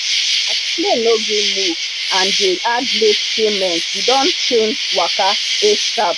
as plane no gree move and dey add late payment we don chnage waka asap